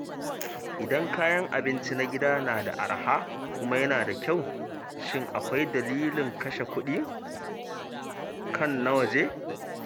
Idan kayan abinci na gida na da araha kuma yana da kyau, shin akwai dalilin kashe kuɗi kan na waje?